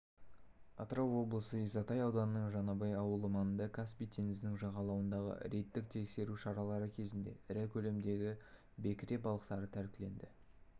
атырау облысы исатай ауданының жаңабай ауылы маңында каспий теңізінің жағалауындағы рейдттік тексеру шаралары кезінде ірі көлемдегі бекіре балықтары тәркіленді